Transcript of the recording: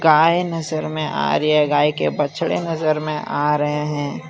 गाय नजर में आ रही है गाय के बछड़े नजर में आ रहे हैं।